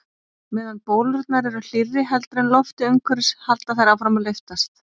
Meðan bólurnar eru hlýrri heldur en loftið umhverfis halda þær áfram að lyftast.